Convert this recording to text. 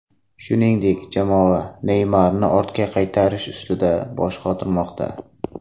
Shuningdek, jamoa Neymarni ortga qaytarish ustida bosh qotirmoqda.